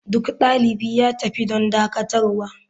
Duk dalibi ya tafi don dakatarwa.